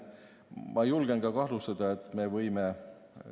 Ma julgen kahtlustada, et me võime ...